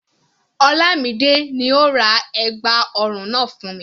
Olamide ni ó ra ẹ̀gbà ọrùn náà fún mi.